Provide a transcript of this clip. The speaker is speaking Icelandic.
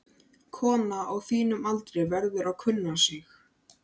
Kona á þínum aldri verður að kunna sig.